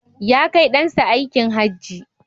Ya kai ɗan sa aikin Hajji